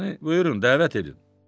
Yəni buyurun, dəvət edin.